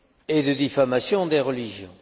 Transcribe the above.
ni de diffamation des religions.